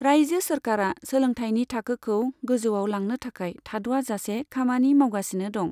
रायजो सोरखारआ सोलोंथाइनि थाखोखौ गोजौआव लांनो थाखाय थाद'आजासे खामानि मावगासिनो दं।